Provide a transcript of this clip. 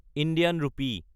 Indian ৰূপী